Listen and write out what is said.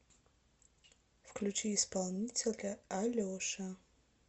включи исполнителя алеша